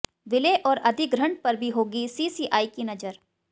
विलय और अधिग्रहण पर भी होगी सीसीआई की नजर